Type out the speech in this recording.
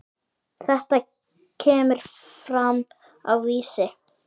Þetta kemur fram á Vísi.